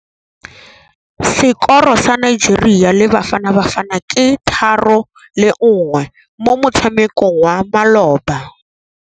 Sekôrô sa Nigeria le Bafanabafana ke 3-1 mo motshamekong wa malôba.